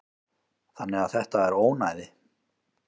Þannig að þetta er ónæði.